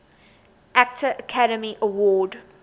actor academy award